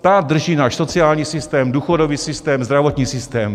Ta drží náš sociální systém, důchodový systém, zdravotní systém.